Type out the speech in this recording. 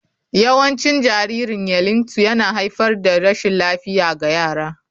Yawancin jaririn yeilingbto yana haifar da rashin lafiya ga yara.